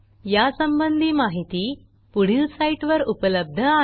यासंबंधी माहिती पुढील साईटवर उपलब्ध आहे